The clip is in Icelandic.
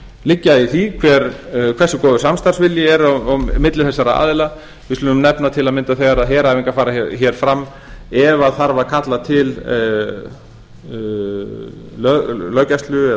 liggja í því hversu góður samstarfsvilji er á milli þessara aðila við skulum nefna til að mynda þegar heræfingar fara hér fram ef þarf að kalla til löggæslu eða l